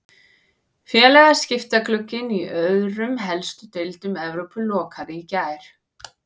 Félagaskiptaglugginn í öðrum helstu deildum Evrópu lokaði í gær.